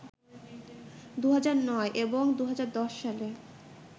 ২০০৯ এবং ২০১০ সালে